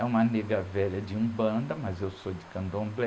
É uma negra velha de umbanda, mas eu sou de Candomblé.